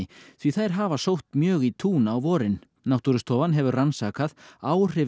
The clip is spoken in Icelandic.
því þær hafa sótt mjög í tún á vorin náttúrustofan hefur rannsakað áhrif